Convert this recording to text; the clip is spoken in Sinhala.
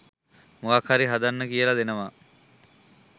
මොකක් හරි හදන්න කියලා දෙනවා